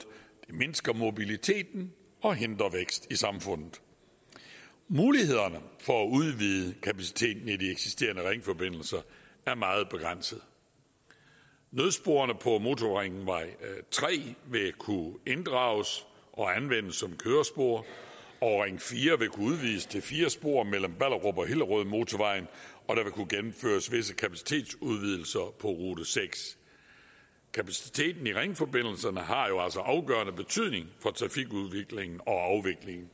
det mindsker mobiliteten og hindrer vækst i samfundet mulighederne for at udvide kapaciteten i de eksisterende ringforbindelser er meget begrænsede nødsporene på motorringvej tre vil kunne inddrages og anvendes som kørespor og ring fire vil kunne udvides til fire spor mellem ballerup og hillerødmotorvejen og der vil kunne gennemføres visse kapacitetsudvidelser på rute sjette kapaciteten i ringforbindelserne har jo altså afgørende betydning for trafikudviklingen og